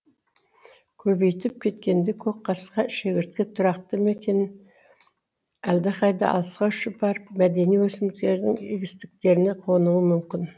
көбейіп кеткенде көкқасқа шегіртке тұрақты мекенін әлдеқайда алысқа ұшып барып мәдени өсімдіктердің егістіктеріне қонуы мүмкін